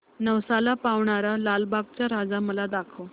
नवसाला पावणारा लालबागचा राजा मला दाखव